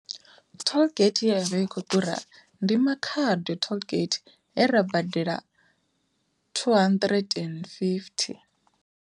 Tollgate ye yavha I khou ḓura ndi Makhado tollgate he ra badela two hundred and fifty.